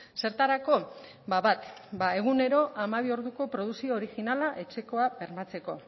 zertarako bat egunero hamabi orduko produkzio originala etxekoa bermatzeko